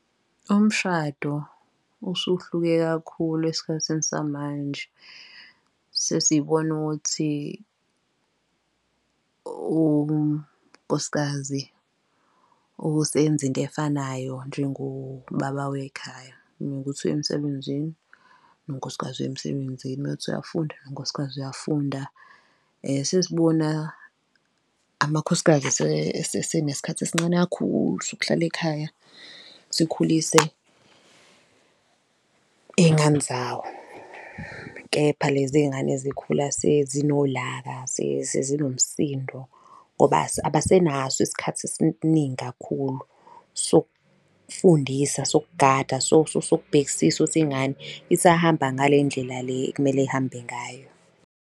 Umshado usuhluke kakhulu esikhathini samanje, sesibona ukuthi unkosikazi usenza into efanayo njengobaba wekhaya, mewukuthi uyemsebenzini, nonkosikazi uya emsebenzini, mewukuthi uyafunda, nonkosikazi uyafunda. Sesibona amakhosikazi esenesikhathi esincane kakhulu sokuhlala ekhaya sikhulise iy'ngane zawo, kepha lezi iy'ngane zikhula sezinolaka, sezinomsindo, ngoba abasenaso isikhathi esiningi kakhulu, sokufundisa, sokugada, sokubhekisisa ukuthi ingane isahambe ngale ndlela le ekumele ihambe ngayo.